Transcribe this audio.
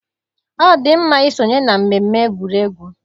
Ọ dị mma isonye na mmemme egwuregwu.